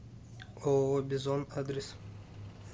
ооо бизон адрес